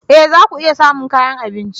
E! za ku iya samun kayan abinci.